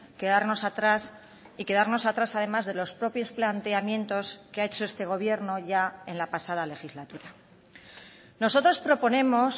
quedarnos atrás y quedarnos atrás además de los propios planteamientos que ha hecho este gobierno ya en la pasada legislatura nosotros proponemos